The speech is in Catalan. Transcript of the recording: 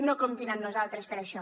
no comptin amb nosaltres per això